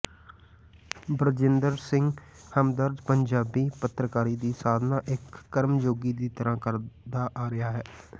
ਬਰਜਿੰਦਰ ਸਿੰਘ ਹਮਦਰਦ ਪੰਜਾਬੀ ਪੱਤਰਕਾਰੀ ਦੀ ਸਾਦਨਾ ਇਕ ਕਮਰਯੋਗੀ ਦੀ ਤਰ੍ਹਾਂ ਕਰਦਾ ਆ ਰਿਹਾ ਹੈ